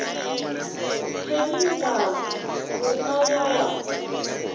pelindaba o ka ya wa